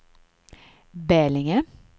Bälinge